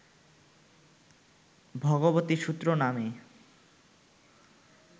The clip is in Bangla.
ভগবতী সূত্র নামে